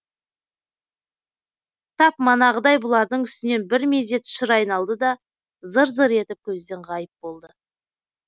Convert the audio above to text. тап манағыдай бұлардың үстінен бір мезет шыр айналды да зыр зыр етіп көзден ғайып болды